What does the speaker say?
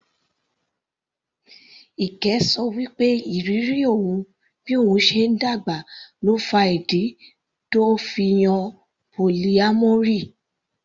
Ike ṣọ wí pé ìrírí òun bí òun ṣe ń dàgbà ló fa ìdí tó fi yan polyamory.